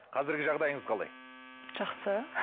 қазіргі жағдайыңыз қалай жақсы